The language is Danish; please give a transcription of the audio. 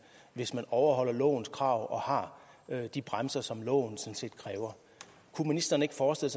hvis man overholder lovens krav og har de bremser som loven sådan set kræver kunne ministeren ikke forestille